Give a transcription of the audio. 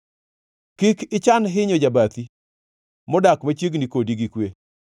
Kik ichan hinyo jabathi, modak machiegni kodi gi kwe.